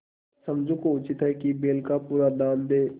समझू को उचित है कि बैल का पूरा दाम दें